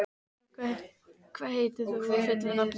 Sylgja, hvað heitir þú fullu nafni?